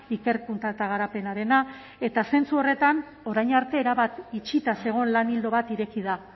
ikerkuntza eta garapenarena eta zentzu horretan orain arte erabat itxita zegoen lan ildo bat ireki da